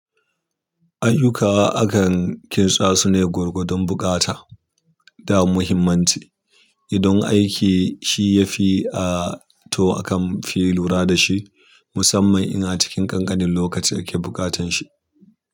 Ayyuka akan kintsa sune gwargwadon buƙata da muhimmanci. Idan aiki shi ya fi a to akan fi lura da shi, musamman in a cikin ƙanƙanin lokaci ake bukatan shi.